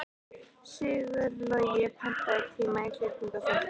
Sigurlogi, pantaðu tíma í klippingu á fimmtudaginn.